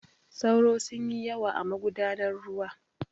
Sauro sun yi yawa a magudan ruwa.